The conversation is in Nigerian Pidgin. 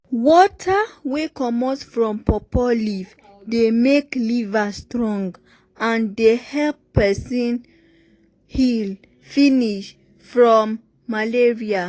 water wey comot from pawpaw leaf dey make liver strong and dey help peson heal finish from um malaria.